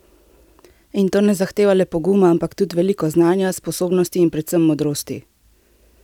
In to ne zahteva le poguma, ampak tudi veliko znanja, sposobnosti in predvsem modrosti!